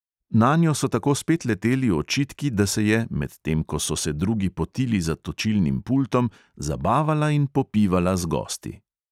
Nanjo so tako spet leteli očitki, da se je, medtem ko so se drugi potili za točilnim pultom, zabavala in popivala z gosti.